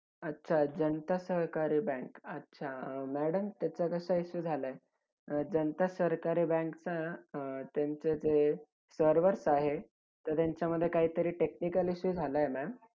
अच्छा! जनता सहकारी बँक. अच्छा अं madam त्याचा कसा issue झाला आहे, जनता सहकारी बँक ना अं त्यांचे ते servers आहे, तर त्यांच्यामध्ये काहीतरी technical issue झाला आहे ma'am